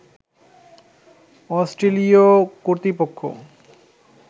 অস্ট্রেলীয় কর্তৃপক্ষ